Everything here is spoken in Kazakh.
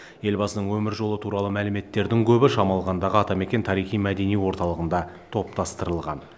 елбасының өмір жолы туралы мәліметтердің көбі шамалғандағы атамекен тарихи мәдени орталығында топтастырылған